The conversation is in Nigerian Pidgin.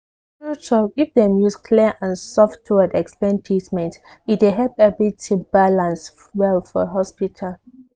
true talk if dem use clear and soft word explain treatment e dey help everything balance well for hospital.